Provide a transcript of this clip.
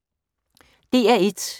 DR1